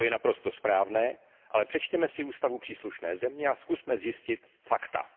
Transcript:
To je naprosto správné, ale přečtěme si ústavu příslušné země a zkusme zjistit fakta.